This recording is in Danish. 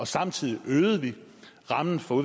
samtidig øgede vi rammen for